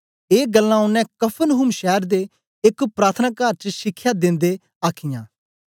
ए गल्लां ओनें कफरनहूम शैर दे एक प्रार्थनाकार च शिखया दिन्दे आखीयां